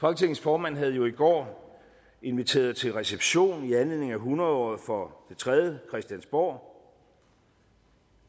folketingets formand havde jo i går inviteret til reception i anledning af hundrede året for det tredje christiansborg